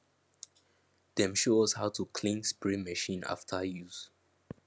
dem show us how to clean spray machine after use